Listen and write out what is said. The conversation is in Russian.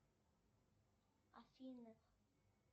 афина